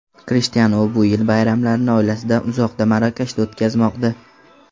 Krishtianu bu yil bayramlarni oilasidan uzoqda, Marokashda o‘tkazmoqda.